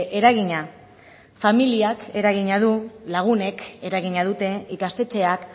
eragina familiak eragina du lagunek eragina dute ikastetxeak